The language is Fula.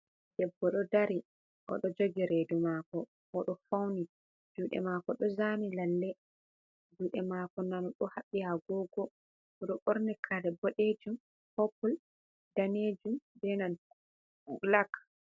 Debbo do dari odo jogi redu mako odo fauni jude mako do zani lalle jude mako nano do habbi agogo odo borni kare bodejum popul danejum benanta blak.